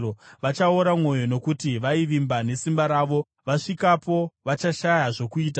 Vachaora mwoyo, nokuti vaivimba nesimba ravo; vasvikapo, vachashaya zvokuita.